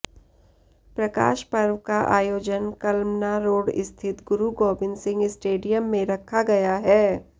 प्रकाश पर्व का आयोजन कलमना रोड स्थित गुरु गोबिन्द सिंह स्टेडियम में रखा गया है